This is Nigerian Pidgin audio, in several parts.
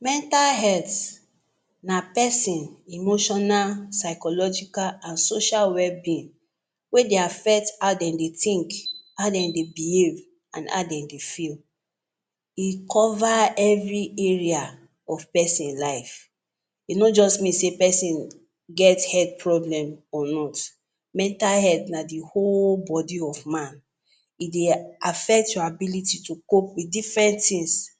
Mental health na person emotional, psychological, and social well-being wey dey affect how dem dey think, how dem dey behave, and how dem dey feel. E cover every area of person life. E no just mean say person get health problem or not mental health na the whole body of man. E dey a affect your ability to cope with different tins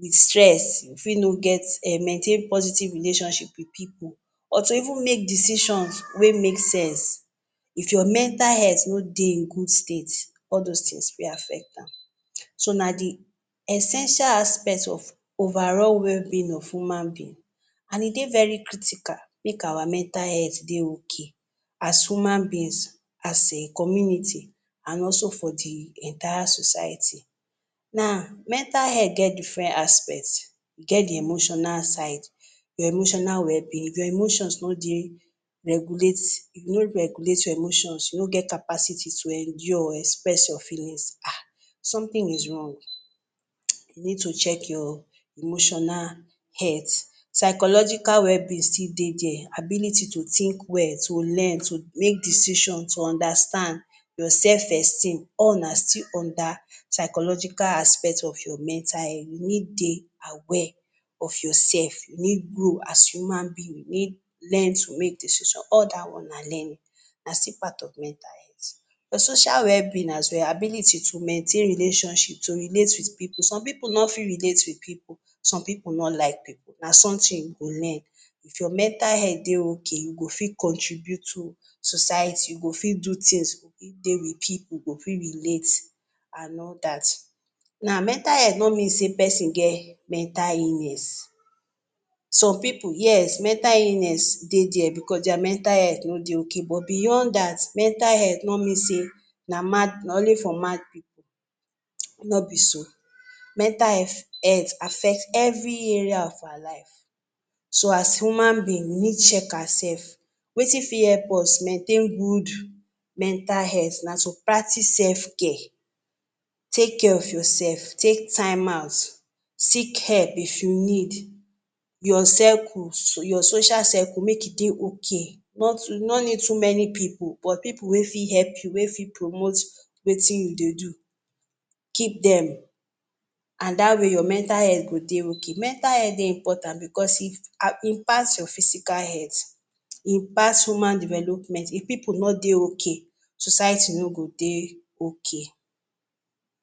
with stress, e fit no get um maintain positive relationship with pipu, or to even make decisions wey make sense. If your mental health no dey in good state, all those things fit affect am. So, na di essential aspect of overall well-being of human being and E dey very critical make our mental health dey okay as human beings, as a community, and also for the entire society. Na Mental health get different aspects. E get the emotional side, your emotional well-being, if your emotions no dey regulate e no regulate your emotions, you no get capacity to endure or express your feelings, um something is wrong. [hiss] You need check your emotional health. Psychological well-being still dey dere. ability to think well, to learn to make decision to understand, your self-esteem, all na still under psychological aspect of your mental health. You need dey aware of yourself. You need grow as human being. You need Learn to make decision, all that one na learning na still part of mental health. Your social well-being as well ability to maintain relationship to relate with pipu. Some pipu no fit relate with pipu some pipu no like pipu Na something you go learn. If your mental health dey okay, you go fit contribute to society, you go fit do things go fit dey with pipu go fit relate and all that Now, mental health no mean say person get mental illness. some pipu yes, mental illness dey there bicos deir mental health no dey okay but beyond that mental health no mean say na mad na only for mad pipu, no be so. Mental health affect every area of our lives. So As human beings, we need check ourself. Wetin fit help us maintain good mental health na to practice self-care. Take care of yourself, take time out seek help if you need. Your circle so your social circle make e dey okay. Nor too You no need too many pipu, but pipu wey fit help you wey promote wetin you dey do. Keep them and That way, your mental health go dey okay. Mental health dey important bicos e pass your physical health, e pass human development. If pipu no dey okay, society no go dey okay